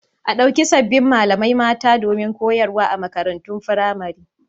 A ɗauki sabbin malamai mata domin koyarwa a makarantun firamare.